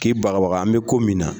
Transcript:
K'i bababaga an bɛ ko min na